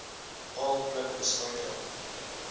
baal pluk bespuiting